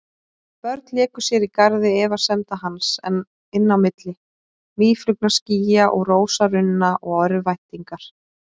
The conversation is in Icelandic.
Börn léku sér í garði efasemda hans, inn á milli mýflugnaskýja og rósarunna og örvæntingar.